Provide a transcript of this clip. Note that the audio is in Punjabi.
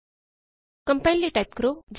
ਕੰਪਾਇਲ ਕਰਨ ਲਈ ਟਾਈਪ ਕਰੋ